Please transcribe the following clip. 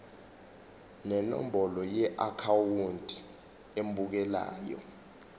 nenombolo yeakhawunti emukelayo